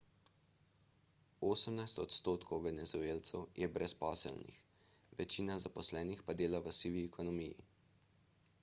osemnajst odstotkov venezuelcev je brezposelnih večina zaposlenih pa dela v sivi ekonomiji